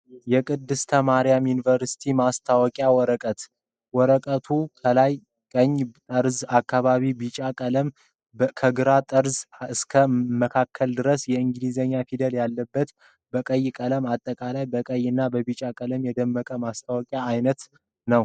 የቅድስተ ማርያም ዩኒቨርስቲ የማስታወቂያ ወረቀት ፤ ወረቀቱ ከላይ ቀኝ ጠርዝ አካባቢ ቢጫ ቀለም ፣ ከግራ ጠርዝ እስከ መካከል ድረስ የእንግሊዘኛ ፊደል ያለበት በቀይ ቀለም አጠቃላይ በቀይ እና በቢጫ ቀለም የደመቀ የማስታወቂያ አይነት ነዉ።